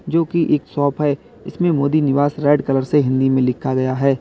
जो की एक शॉप है इसमें मोदी निवास रेड कलर से हिंदी में लिखा गया है।